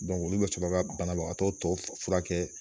olu be sɔrɔ ka banabaatɔ tɔ furakɛ